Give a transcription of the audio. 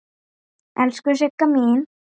Elsku Sigga mín.